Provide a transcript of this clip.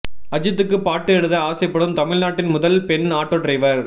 அஜித்துக்கு பாட்டு எழுத ஆசைப்படும் தமிழ்நாட்டின் முதல் பெண் ஆட்டோ டிரைவர்